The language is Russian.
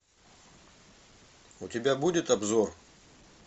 у тебя будет обзор